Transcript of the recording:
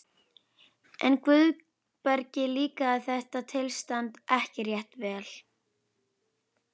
En Guðbergi líkaði þetta tilstand ekki rétt vel.